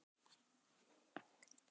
Birkir kom á eftir með hrífuna í hendinni.